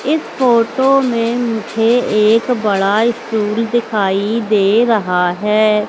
इस फोटो में मुझे एक बड़ा स्टूल दिखाई दे रहा है।